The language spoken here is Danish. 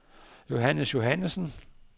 Johannes Johannesen